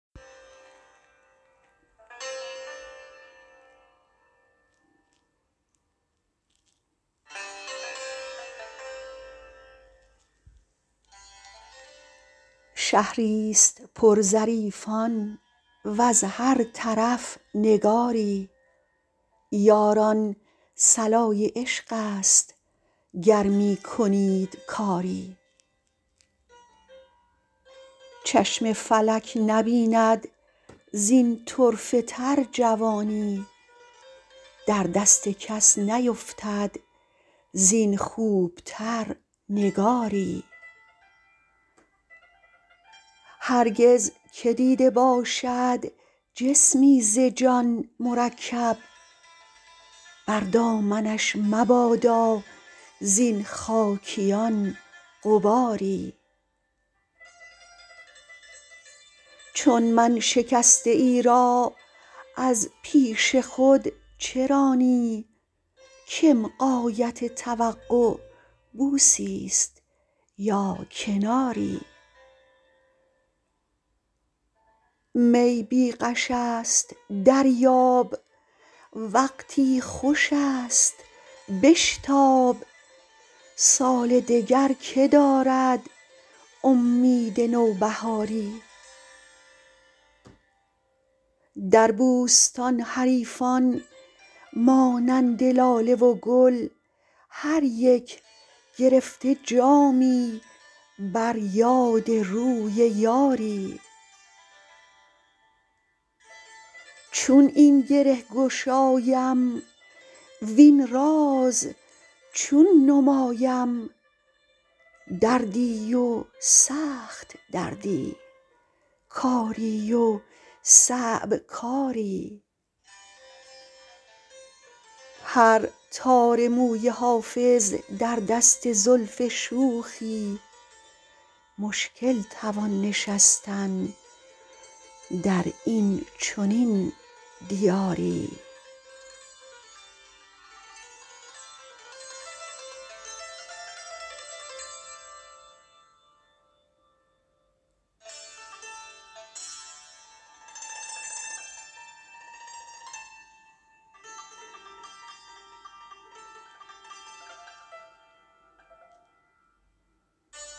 شهری ست پر ظریفان وز هر طرف نگاری یاران صلای عشق است گر می کنید کاری چشم فلک نبیند زین طرفه تر جوانی در دست کس نیفتد زین خوب تر نگاری هرگز که دیده باشد جسمی ز جان مرکب بر دامنش مبادا زین خاکیان غباری چون من شکسته ای را از پیش خود چه رانی کم غایت توقع بوسی ست یا کناری می بی غش است دریاب وقتی خوش است بشتاب سال دگر که دارد امید نوبهاری در بوستان حریفان مانند لاله و گل هر یک گرفته جامی بر یاد روی یاری چون این گره گشایم وین راز چون نمایم دردی و سخت دردی کاری و صعب کاری هر تار موی حافظ در دست زلف شوخی مشکل توان نشستن در این چنین دیاری